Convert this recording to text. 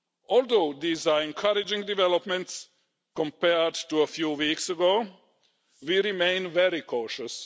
Although these are encouraging developments compared to a few weeks ago, we remain very cautious.